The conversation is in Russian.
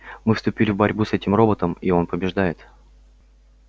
мы вступили в борьбу с этим роботом и он побеждает